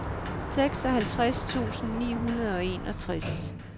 seksoghalvtreds tusind ni hundrede og enogtres